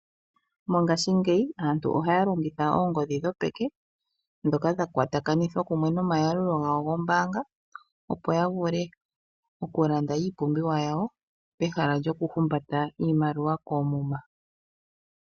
Mongaashingeyi aantu ohaa longitha oongodhi dhopeke ndhoka dha kwatakanithwa nomayalulo goombaanga, opo ya vule okulanda iipumbiwa yawo pehala lyoku humbata iimaliwa koomuma.